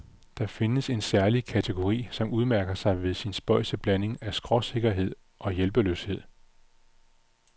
Der findes en særlig kategori, som udmærker sig ved sin spøjse blanding af skråsikkerhed og hjælpeløshed.